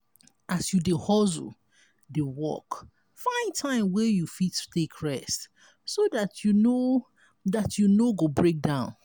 as you dey hustle dey work find time wey you fit take rest so dat you no dat you no go break down